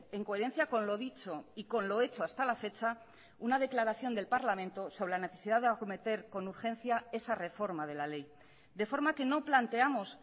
en coherencia con lo dicho y con lo hecho hasta la fecha una declaración del parlamento sobre la necesidad de acometer con urgencia esa reforma de la ley de forma que no planteamos